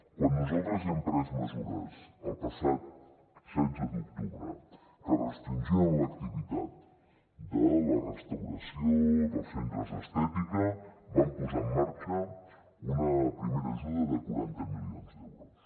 quan nosaltres hem pres mesures el passat setze d’octubre que restringien l’activitat de la restauració dels centres d’estètica vam posar en marxa una primera ajuda de quaranta milions d’euros